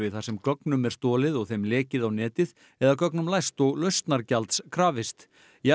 þar sem gögnum er stolið og þeim lekið á netið eða gögnum læst og lausnargjalds krafist